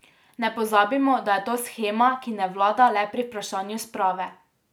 Ne pozabimo, da je to shema, ki ne vlada le pri vprašanju sprave.